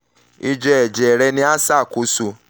ijẹ ẹjẹ rẹ ni a ṣakoso